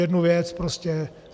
Jednu věc prostě.